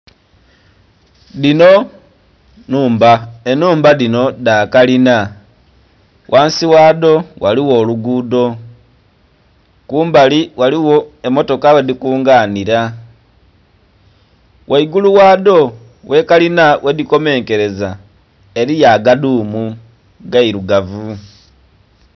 Dhino nhumba, enhumba dhino dhakalina ghansi ghadho ghaligho olugudo kumbali ghaligho emmotoka ghedhikunganira ghaigulu ghadho ghekalina ghedhikomenkereza eriyo agadhumu agairugavu.